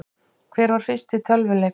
Hver var fyrsti tölvuleikurinn?